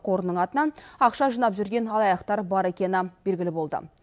қорының атынан ақша жинап жүрген алаяқтар бар екені белгілі болды